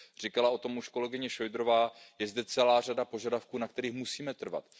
Mluvila už o tom kolegyně Šojdrová, je zde celá řada požadavků, na kterých musíme trvat.